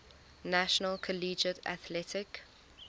national collegiate athletic